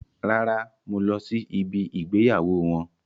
Rárá, mo lọ sí ibí ìgbéyàwó wọn.